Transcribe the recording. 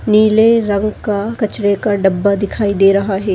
नीले रंग का कचरे का डब्बा दिखाई दे रहा है।